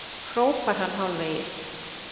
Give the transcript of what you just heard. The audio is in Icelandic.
hrópar hann hálfvegis.